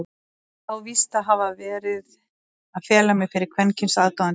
Ég á víst að hafa verið að fela mig fyrir kvenkyns aðdáendum?!